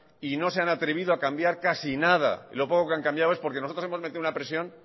y no se han atrevido a cambiar casi nada y lo poco que han cambiado es porque nosotros hemos metido una presión